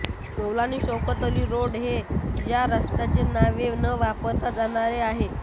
मौलाना Shaukat Ali road हे या रस्त्याचे नवे न वापरले जाणारे नाव आहे